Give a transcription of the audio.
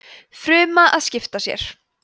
fruma að skipta sér